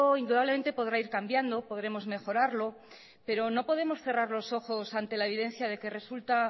indudablemente podrá ir cambiando podremos mejorarlo pero no podemos cerrar los ojos ante la evidencia que resulta